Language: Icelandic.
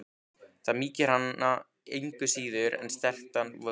Það mýkir hana engu síður en strekktan vöðva.